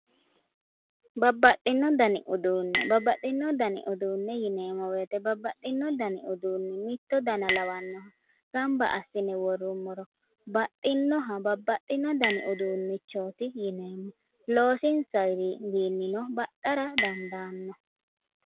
Babbaxxino dani uduunne, babbaxxino dani uduunne yineemmo woyite babbaxxino dani mitto dana lawannoha gamba assine worrummoro baxxinnoha babbaxxino dani uduunnichooti yineemmo. Loosinsayino baxxara dandaanno.